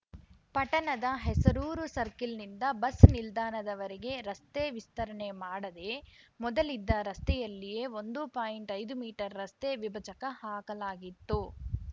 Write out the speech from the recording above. ಪಟಣದ ಹೆಸರೂರ ಸರ್ಕಲ್ನಿಂದ ಬಸ್ ನಿಲ್ದಾಣದವರೆಗೆ ರಸ್ತೆ ವಿಸ್ತರಣೆ ಮಾಡದೇ ಮೊದಲಿದ್ದ ರಸ್ತೆಯಲ್ಲಿಯೇ ಒಂದು ಪಾಯಿಂಟ್ ಐದು ಮೀಟರ್ ರಸ್ತೆ ವಿಭಜಕ ಹಾಕಲಾಗಿತ್ತು